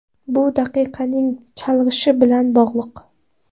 Bu diqqatning chalg‘ishi bilan bog‘liq.